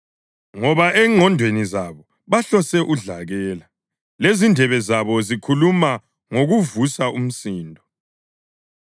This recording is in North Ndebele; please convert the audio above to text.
ngoba ezingqondweni zabo bahlose udlakela, lezindebe zabo zikhuluma ngokuvusa umsindo.